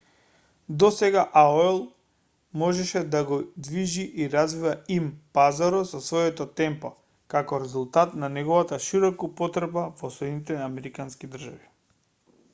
досега аол можеше да го движи и развива им-пазарот со свое темпо како резултат на неговата широка употреба во соединетите американски држави